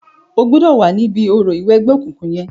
O gbọ̀dọ̀ wá níbi orò ìwẹgbẹ́ okùnkùn yẹn.